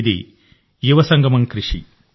ఇది యువసంగమం కృషి